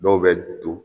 Dɔw bɛ don